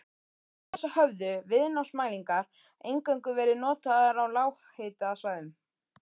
Fram til þessa höfðu viðnámsmælingar eingöngu verið notaðar á lághitasvæðum.